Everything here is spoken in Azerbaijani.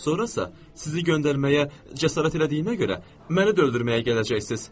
Sonrasa sizi göndərməyə cəsarət elədiyinə görə məni də öldürməyə gələcəksiz.